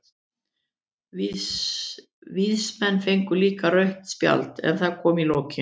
Víðismenn fengu líka rautt spjald, en það kom í lokin.